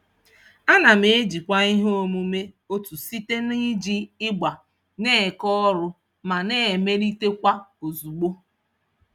Ana m ejikwa ihe omume otu site n'iji ịgba na-eke ọrụ ma na-emelitekwa ozugbo.